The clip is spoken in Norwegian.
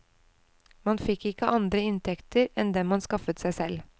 Man fikk ikke andre inntekter enn dem man skaffet seg selv.